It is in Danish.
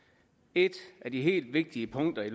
et af de helt vigtige punkter i